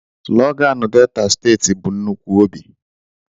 Sloganú Delta steeti bụ nnukwu óbị.